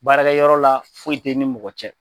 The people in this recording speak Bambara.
Baarakɛyɔrɔ la, foyi tɛ ni mɔgɔ cɛ.